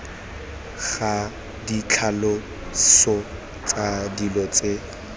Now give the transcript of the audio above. ga ditlhaloso tsa dilo tse